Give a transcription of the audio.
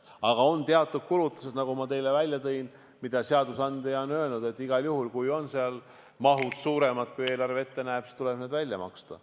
Aga on teatud kulutused, nagu ma teile välja tõin, mille kohta seadusandja on öelnud, et igal juhul, kui seal on ka mahud suuremad, kui eelarve ette näeb, siis tuleb need välja maksta.